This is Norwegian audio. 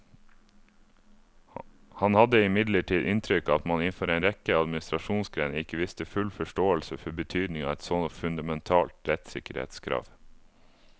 Han hadde imidlertid inntrykk av at man innenfor en rekke administrasjonsgrener ikke viste full forståelse for betydningen av et så fundamentalt rettssikkerhetskrav.